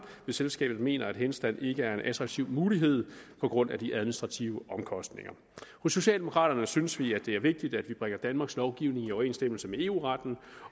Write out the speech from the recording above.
hvis selskabet mener at henstand ikke er en attraktiv mulighed på grund af de administrative omkostninger hos socialdemokraterne synes vi at det er vigtigt at vi bringer danmarks lovgivning i overensstemmelse med eu retten